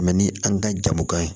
ni an ka jamu kan ye